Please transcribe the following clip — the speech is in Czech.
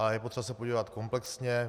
A je potřeba se podívat komplexně.